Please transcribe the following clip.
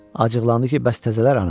Acıqlandı ki, bəs təzələr hanı?